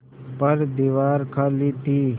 पर दीवार खाली थी